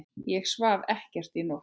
Ég svaf ekkert í nótt.